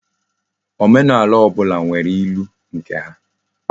Omenaala obula nwere ilu nke ha